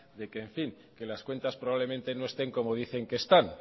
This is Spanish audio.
de que las cuentas probablemente no estén como dicen que están